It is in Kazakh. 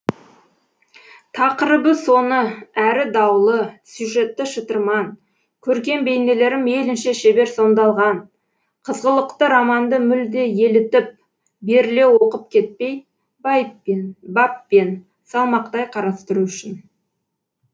тақырыбы соны әрі даулы сюжеті шытырман көркем бейнелері мейлінше шебер сомдалған қызғылықты романды мүлде елітіп беріле оқып кетпей байыппен баппен салмақтай қарастыру үшін